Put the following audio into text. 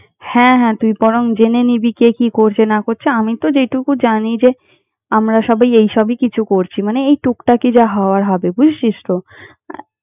হ্যাঁ হ্যাঁ, তুই বরং জেনে নিবি কে কি করছে না করছে। আমি তো যেটুকু জানি যে, আমরা সবাই এইসবই কিছু করছি মানে এই টুকটাকই যা হওয়ার হবে, বুঝেছিস তো? আহ